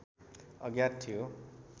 अज्ञात थियो